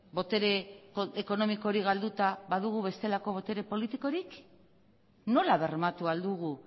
botere ekonomiko hori galduta badugu bestelako botere politikorik nola bermatu ahal dugu